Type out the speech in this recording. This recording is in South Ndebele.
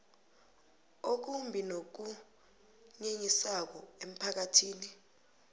okumbi nokunyenyisako emphakathini